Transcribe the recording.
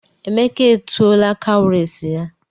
Emeka etuola cowries ya.